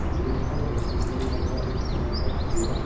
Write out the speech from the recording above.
gym है जो कि जिम में जो अभी के समय में तकरीबन --